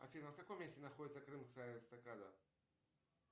афина в каком месте находится крымская эстакада